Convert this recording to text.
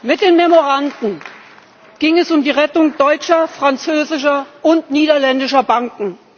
Mit den Memoranden ging es um die Rettung deutscher, französischer und niederländischer Banken.